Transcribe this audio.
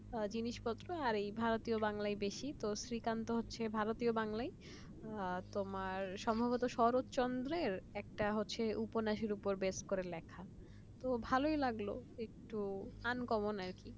জিনিসপত্র ভারতীয় বাংলায় বেশি শ্রীকান্ত হচ্ছে ভারতীয় বাংলার সম্ভবত শরৎচন্দ্রের একটা হচ্ছে উপন্যাসের উপর বেস করে লেখা তো ভালই লাগলো uncommon আর কি